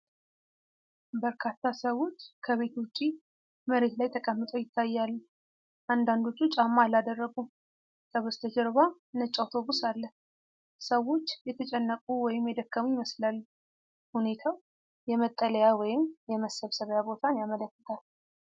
በርካታ ሰዎች ከቤት ውጪ መሬት ላይ ተቀምጠው ይታያሉ። አንዳንዶቹ ጫማ አላደረጉም። ከበስተጀርባ ነጭ አውቶቡስ አለ። ሰዎች የተጨነቁ ወይም የደከሙ ይመስላሉ። ሁኔታው የመጠለያ ወይም የመሰብሰቢያ ቦታን ያመለክታል።